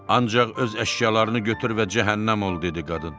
Ancaq öz əşyalarını götür və cəhənnəm ol, dedi qadın.